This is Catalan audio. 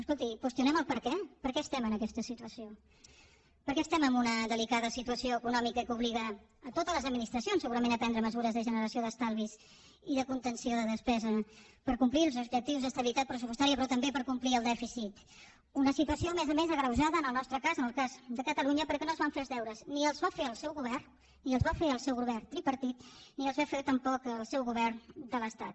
escolti qüestionem el perquè per què estem en aquesta situació per què estem en una delicada situació econòmica que obliga a totes les administracions segurament a prendre mesures de generació d’estalvis i de contenció de despesa per complir els objectius d’estabilitat pressupostària però també per complir el dèficit una situació a més a més agreujada en el nostre cas en el cas de catalunya perquè no es van fer els deures ni els va fer el seu govern ni els va fer el seu govern tripartit ni els va fer tampoc el seu govern de l’estat